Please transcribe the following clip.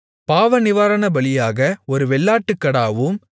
பாவநிவாரணபலியாக ஒரு வெள்ளாட்டுக்கடாவும்